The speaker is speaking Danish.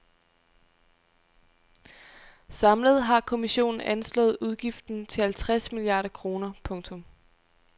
Samlet har kommissionen anslået udgiften til halvtreds milliarder kroner. punktum